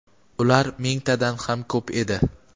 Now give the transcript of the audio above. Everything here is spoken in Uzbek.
ular mingtadan ham ko‘p edi.